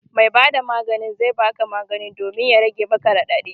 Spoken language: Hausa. Mai ba da maganin zai ba ka magani domin ya rage maka raɗaɗi